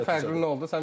Bizdə fərqli nə oldu?